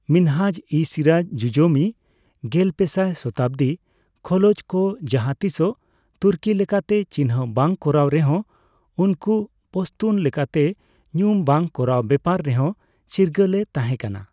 ᱢᱤᱱᱦᱟᱡᱼᱤᱼᱥᱤᱨᱟᱡ ᱡᱩᱡᱡᱚᱢᱤ(ᱜᱮᱞᱯᱮᱥᱟᱭ ᱥᱚᱛᱟᱵᱫᱤ) ᱠᱷᱚᱞᱚᱡ ᱠᱚ ᱡᱟᱦᱟᱸ ᱛᱤᱥ ᱦᱚᱸ ᱛᱩᱨᱠᱤ ᱞᱮᱠᱟᱛᱮ ᱪᱤᱱᱦᱟᱹ ᱵᱟᱝ ᱠᱚᱨᱟᱣ ᱨᱮᱦᱚᱸ ᱩᱱᱠᱩ ᱯᱚᱥᱛᱩᱱ ᱞᱮᱠᱟᱛᱮ ᱧᱩᱢ ᱵᱟᱝ ᱠᱚᱨᱟᱣ ᱵᱮᱯᱟᱨ ᱨᱮᱦᱚᱸ ᱪᱤᱨᱜᱟᱹᱞ ᱮ ᱛᱟᱦᱮᱸ ᱠᱟᱱᱟ ᱾